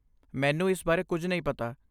ਮੈਨੂੰ ਇਸ ਬਾਰੇ ਕੁੱਝ ਨਹੀਂ ਪਤਾ।